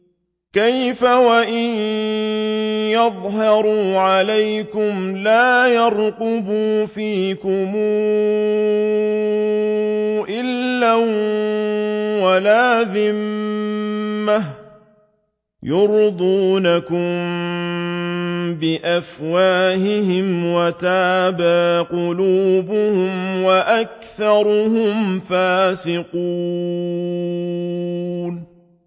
كَيْفَ وَإِن يَظْهَرُوا عَلَيْكُمْ لَا يَرْقُبُوا فِيكُمْ إِلًّا وَلَا ذِمَّةً ۚ يُرْضُونَكُم بِأَفْوَاهِهِمْ وَتَأْبَىٰ قُلُوبُهُمْ وَأَكْثَرُهُمْ فَاسِقُونَ